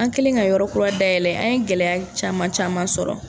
An kɛlen ka yɔrɔ kura dayɛlɛ an ye gɛlɛya caman caman sɔrɔ.